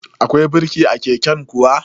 Akwai birki a keken kuwa?